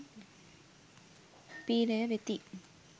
පි්‍රය වෙති.